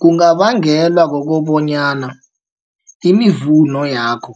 Kungabangelwa kokobonyana imivuno yakho